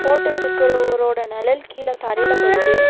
Photo எடுக்கிறவரோட நெழல் கீழ தரையில படுது.